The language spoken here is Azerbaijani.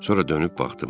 Sonra dönüb baxdım.